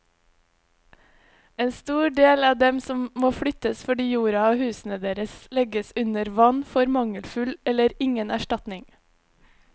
En stor del av dem som må flyttes fordi jorda og husene deres legges under vann, får mangelfull eller ingen erstatning.